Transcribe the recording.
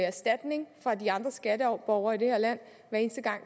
erstatning af de andre skatteborgere i det her land hver eneste gang